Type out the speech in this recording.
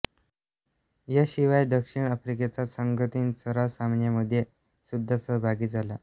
याशिवाय दक्षिण आफ्रिकेचा संघ तीन सराव सामन्यांमध्ये सुद्धा सहभागी झाला